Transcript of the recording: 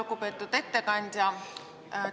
Lugupeetud ettekandja!